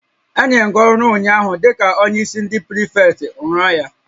Enyere m gị ọrụ ụnyaahụ dịka onyeisi ndị prịfektị, rụọ ya!